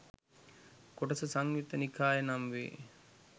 කොටස සංයුත්ත නිකාය නම් වේ.